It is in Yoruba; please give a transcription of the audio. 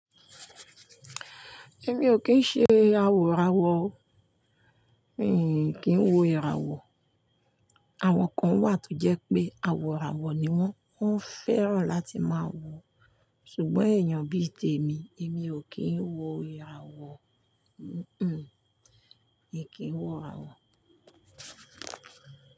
Èmi ò kín ṣe awòrawò, mi kì í wo ìràwọ̀. Àwọn kan wà tó jẹ́ pé awòrawò ni wọ́n, wọ́n fẹ́ràn láti máa wọ̀. Ṣùgbọ́n èèyàn bíi tèmi, èmi ò kí ń wo ìràwọ̀, mm-mm, èmi kì ń wo ìràwọ̀